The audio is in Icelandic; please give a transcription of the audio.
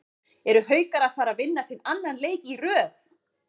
ERU HAUKAR AÐ FARA AÐ VINNA SINN ANNAN LEIK Í RÖÐ???